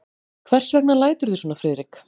Hvers vegna læturðu svona, Friðrik?